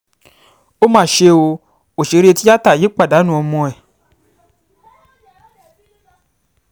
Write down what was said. ó mà ṣe ọ́ òṣèré tìata yìí pàdánù ọmọ ẹ